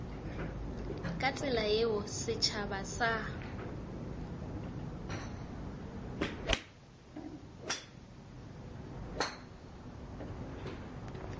ka tsela yeo setšhaba sa